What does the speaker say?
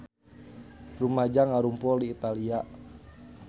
Rumaja ngarumpul di Italia